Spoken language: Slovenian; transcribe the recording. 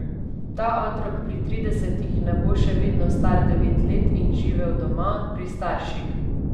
Ta otrok pri tridesetih ne bo še vedno star devet let in živel doma, pri starših.